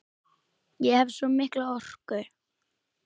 Ég hef svo mikla orku.